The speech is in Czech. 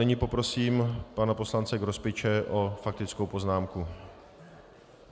Nyní poprosím pana poslance Grospiče o faktickou poznámku.